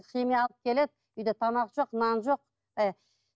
химия алып келеді үйде тамақ жоқ нан жоқ баяғы